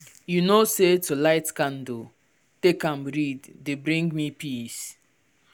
you know say to light candle take am read dey bring me peace